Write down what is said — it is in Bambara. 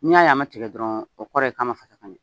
N'i y'a ye a ma tigɛ dɔrɔn, o kɔrɔ ye k'a ma fasa ka ɲɛ.